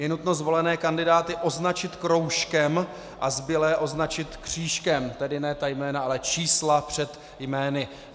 Je nutno zvolené kandidáty označit kroužkem a zbylé označit křížkem, tedy ne ta jména, ale čísla před jmény.